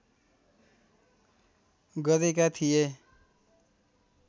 गरेका थिए।